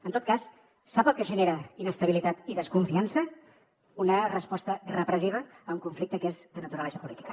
en tot cas sap el que genera inestabilitat i desconfiança una resposta repressiva a un conflicte que és de naturalesa política